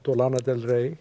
og lana del